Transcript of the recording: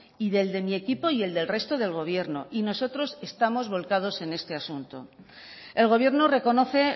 y el del mi equipo y del resto del gobierno y nosotros estamos volcados en este asunto el gobierno reconoce